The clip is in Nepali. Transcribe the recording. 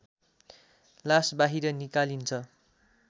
लास बाहिर निकालिन्छ